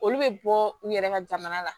Olu bɛ bɔ u yɛrɛ ka jamana la